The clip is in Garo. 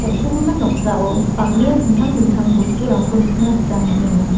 on·sogimin noksao bang·bea dingtang dingtang bosturangko nikna gita man·enga.